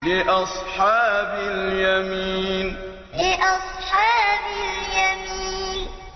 لِّأَصْحَابِ الْيَمِينِ لِّأَصْحَابِ الْيَمِينِ